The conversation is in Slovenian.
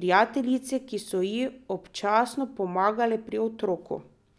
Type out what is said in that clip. prijateljice, ki so ji občasno pomagale pri otroku.